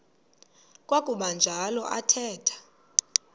kwakuba njalo athetha